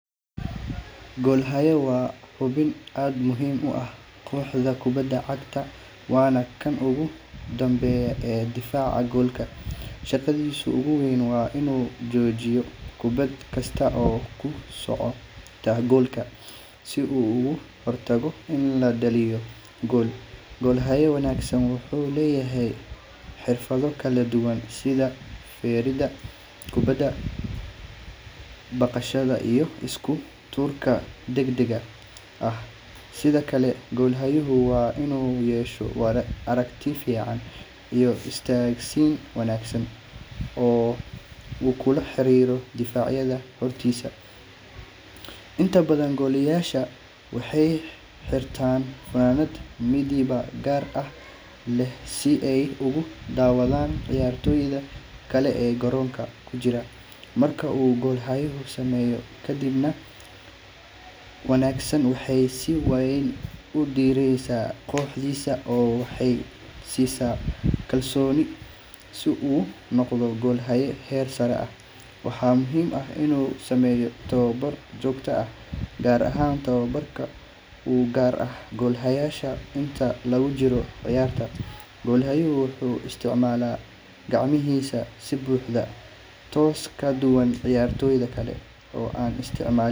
Goosashada galleyda waa mid ka mid ah hawlaha ugu muhiimsan ee nolosha beeraleyda. Galleydu marka ay bislaato, waxaa la sugaa ilaa ay madaxdeedu qalalaan oo ay bilaabaan inay yeeshaan midab jaalle ama bunni ah. Tani waxay tilmaam u tahay in miraha galleydu ay diyaar u yihiin goosashada. Inta badan galleyda waxaa la goostaa muddo u dhexeysa afar ilaa lix bilood kadib marka la tallaalo, iyadoo ku xiran nooca galleyda iyo deegaanka lagu beero. Beeraleydu waxay isticmaalaan gacmaha si ay u gooyaan madaxda galleyda ama waxay adeegsan karaan mashiinada harvesters haddii ay heli karaan. Goosashada kadib, madaxda galleyda waxaa lagu ururiyaa meel qalalan si miraha looga gooyo, waxaana la dhigaa meel hawo leh si aanay u halligin. Miraha galleyda ayaa la qalajiyaa muddo dhowr maalmood ah si ay u lumiyaan qoyaan, taasoo muhiim u ah kaydinta iyo suuq geynta. Galleyda.